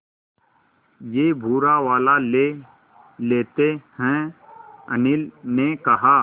ये भूरा वाला ले लेते हैं अनिल ने कहा